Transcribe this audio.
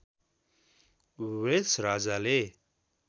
Wales राज्यले